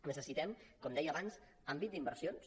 necessitem com deia abans àmbit d’inversions